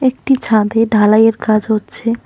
একটি ছাদে ঢালাইয়ের কাজ হচ্ছে।